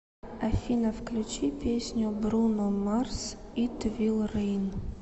афина включи песню бруно марс ит вил рейн